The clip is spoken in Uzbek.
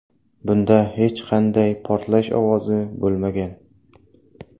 Bunda hech qanday portlash ovozi bo‘lmagan.